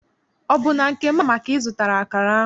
Ọ bụ na nke Mama ka ị zụtara akara ahụ?